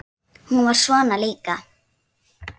Hún var svona líka.